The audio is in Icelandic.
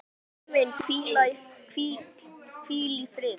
Stjáni minn, hvíl í friði.